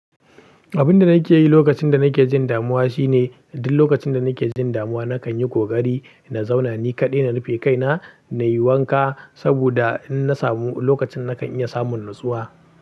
Abin da nake yi lokacin da nake jin damuwa shine duk lokacin da nake jin damuwa, na kan yi ƙoƙari na zauna ni kaɗai, na rufe kaina na yi wanka saboda in na samu lokacin na kan iya samun natsuwa.